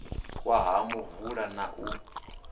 wa ha muvula na u